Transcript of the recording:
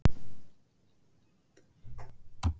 Þorbjörn: Allavega salurinn fullur af gleði hér í kvöld?